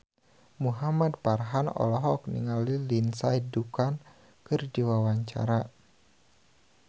Muhamad Farhan olohok ningali Lindsay Ducan keur diwawancara